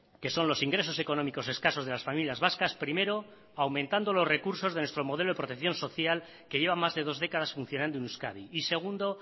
que son los ingresos económicos escasos de las familias vascas primero aumentando los recursos de nuestro modelo de protección social que lleva más de dos décadas funcionando en euskadi y segundo